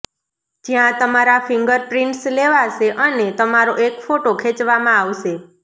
જ્યાં તમારા fingerprints લેવાશે અને તમારો એક ફોટો ખેંચવામાં આવશે